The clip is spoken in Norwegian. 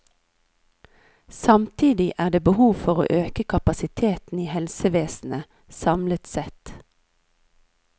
Samtidig er det behov for å øke kapasiteten i helsevesenet samlet sett.